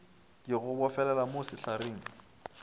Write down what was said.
ke go bofelele mo sehlareng